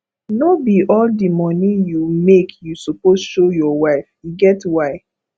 no be all di moni you make you suppose show your wife e get why